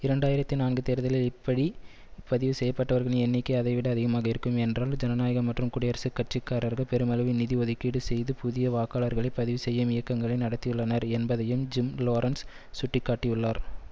இரண்டு ஆயிரத்தி நான்கு தேர்தலில் இப்படி பதிவு செய்ய பட்டவர்களின் எண்ணிக்கை அதைவிட அதிகமாக இருக்கும் என்றால் ஜனநாயக மற்றும் குடியரசுக் கட்சி காரர்கள் பெருமளவில் நிதி ஒதுக்கீடு செய்து புதிய வாக்காளர்களை பதிவு செய்யும் இயக்கங்களை நடத்தியுள்ளனர் என்பதையும் ஜிம் லோரன்ஸ் சுட்டிக்காட்டியுள்ளார்